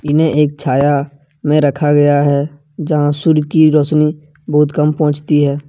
इन्हें एक छाया में रखा गया है जहां सूर्य की रोशनी बहुत कम पहुंचती है।